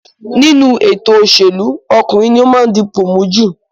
Nínú ètò òṣèlú, ọkùnrin ní ó máa ń dipò mú jù